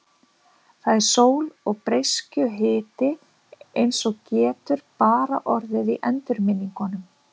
Það er sól og breiskjuhiti eins og getur bara orðið í endurminningum.